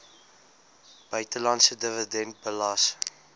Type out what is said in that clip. buitelandse dividend belas